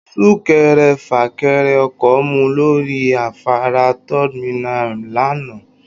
Súkẹrẹfà-kẹrẹ-ọkọ̀ mú lórí afárá Third Mainland lánàá